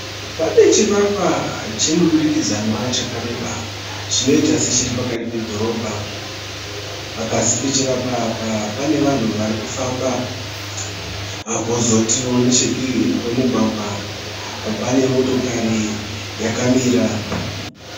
Pane chivakwa chemudurikidzanwa chakareba. Chinoita sechiri pakati pedhorobha. Pasi pechivakwa apa pane vanhu vari kufamba. Kozotio nechedivi kwemugwagwa pane motokari yakamira.